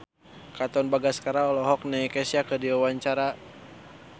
Katon Bagaskara olohok ningali Kesha keur diwawancara